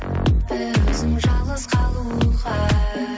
бір өзің жалғыз қалуға